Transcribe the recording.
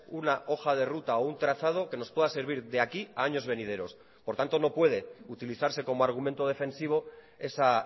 una hoja de ruta o un trazado que nos pueda servir de aquí a años venideros por tanto no puede utilizarse como argumento defensivo esa